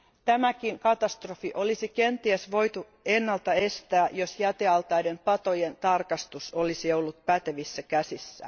Tämäkin katastrofi olisi kenties voitu ennalta estää, jos jätealtaiden patojen tarkastus olisi ollut pätevissä käsissä.